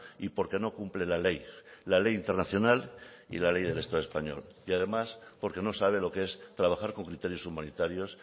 y porque no cumple la ley la ley internacional y la ley del estado español y además porque no sabe lo que es trabajar con criterios humanitarios